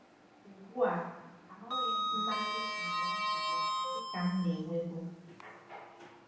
Ugbu a, ahụghị m mmasị na ya na ya dị ka m na-enwebu.